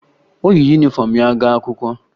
O yi yunifọmụ ya gaa akwụkwọ